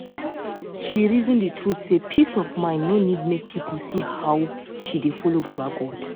she reason d truth say peace of mind no need make people see how she dey follow baba god